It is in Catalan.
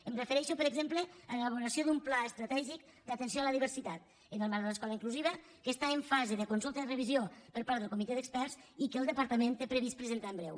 em refereixo per exemple a l’elaboració d’un pla estratègic d’atenció a la diversitat en el marc de l’escola inclusiva que està en fase de consulta i revisió per part del comitè d’experts i que el departament té previst presentar en breu